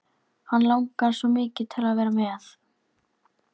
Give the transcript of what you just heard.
Hann langar svo mikið til að vera með.